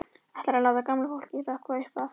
Ætlarðu að láta gamla fólkið hrökkva upp af?